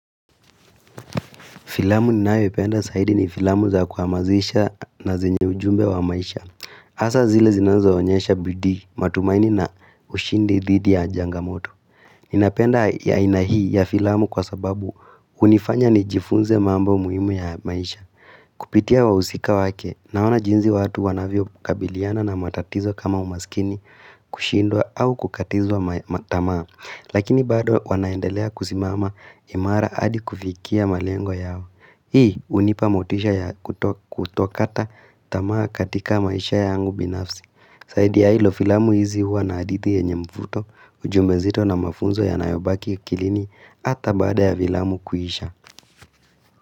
Filamu ninayoipenda zaidi ni filamu za kuhamazisha na zenye ujumbe wa maisha. Asa zile zinazo onyesha bidii matumaini na ushindi dhidi ya changamoto. Ninapenda ya aina hii ya filamu kwa sababu hunifanya nijifunze mambo muhimu ya maisha. Kupitia wahusika wake, naona jinsi watu wanavyo kabiliana na matatizo kama umaskini kushindwa au kukatizwa matamaa. Lakini bado wanaendelea kusimama imara hadi kufikia malengo yao. Hii unipa motisha ya kutokata tamaa katika maisha yangu binafsi zaidi ya hilo filamu hizi huwa na adithi yenye mvuto, ujumbe nzito na mafunzo yanayobaki kilini Hata bada ya filamu kuhisha.